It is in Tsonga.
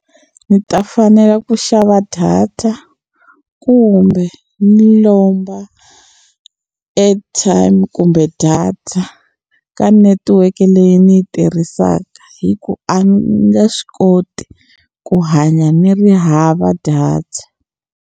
Ndzi ta fanela ku xava data kumbe ni lomba airtime kumbe data ka netiweke leyi ni yi tirhisaka hi ku a nge swi koti ku hanya ni ri hava data.